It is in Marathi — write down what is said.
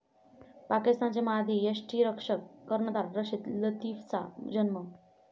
पाकिस्तानचे माजी यष्टिरक्षक, कर्णधार रशीद लतिफचा जन्म.